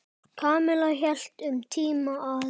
Kamilla hélt um tíma að